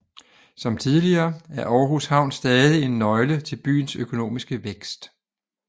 Som tidligere er Aarhus Havn stadig en nøgle til byens økonomiske vækst